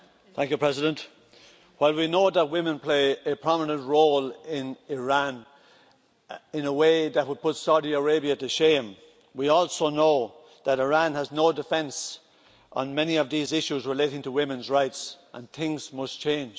Mr President, while we know that women play a prominent role in Iran in a way that would put Saudi Arabia to shame, we also know that Iran has no defence on many of these issues relating to women's rights, and things must change.